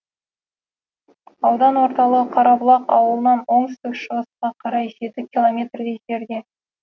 аудан орталығы қарабұлақ ауылынан оңтүстік шығысқа қарай жеті километрдей жерде